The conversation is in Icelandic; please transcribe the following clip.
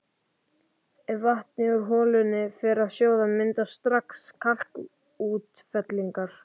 Ef vatnið úr holunni fær að sjóða myndast strax kalkútfellingar.